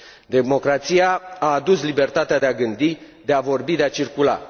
Democrația a adus libertatea de a gândi, de a vorbi, de a circula.